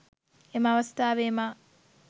එම අවස්ථාවේ මා